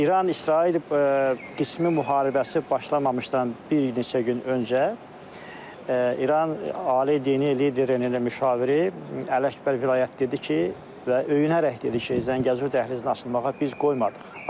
İran-İsrail qismi müharibəsi başlamamışdan bir neçə gün öncə, İran Ali Dini liderinin müşaviri Ələkbər vilayətdə dedi ki, və öyünərək dedi ki, Zəngəzur dəhlizini açılmağa biz qoymurdıq.